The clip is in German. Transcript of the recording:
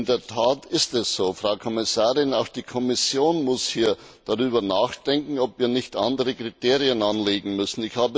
In der Tat ist es so, Frau Kommissarin, auch die Kommission muss darüber nachdenken, ob wir nicht andere Kriterien anlegen müssen.